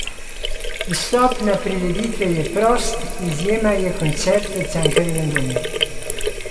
Vstop na prireditve je prost, izjema je koncert v Cankarjevem domu.